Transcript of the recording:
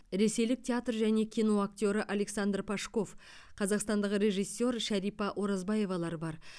ресейлік театр және кино актері александр пашков қазақстандық режиссер шәрипа оразбаевалар бар